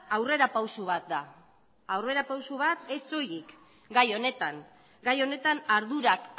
aurrerapauso bat da aurrerapauso bat ez soilik gai honetan gai honetan ardurak